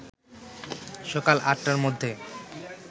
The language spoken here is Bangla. সকাল আটটার মধ্যে